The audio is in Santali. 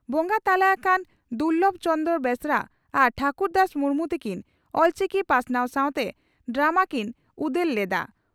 ᱵᱚᱸᱜᱟ ᱛᱟᱞᱟ ᱟᱠᱟᱱ ᱫᱩᱨᱞᱚᱵ ᱪᱚᱱᱫᱲᱨᱚ ᱵᱮᱥᱨᱟ ᱟᱨ ᱴᱷᱟᱹᱠᱩᱨᱫᱟᱥ ᱢᱩᱨᱢᱩ ᱛᱤᱠᱤᱱ ᱚᱞᱪᱤᱠᱤ ᱯᱟᱥᱱᱟᱣ ᱥᱟᱣᱛᱮ ᱰᱨᱟᱢ ᱠᱤᱱ ᱩᱫᱮᱞ ᱞᱮᱫᱼᱟ ᱾